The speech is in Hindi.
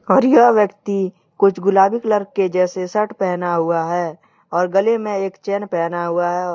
और यह अव्यक्ति कुछ गुलाबी कलर के जैसे सर्ट पहना हुआ है और गले में एक चेन पहना हुआ है।